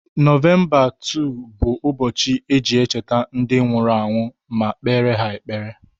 Novemba 2 bụ ụbọchị eji echeta ndi nwuru anwu ma kpere ha ekpere.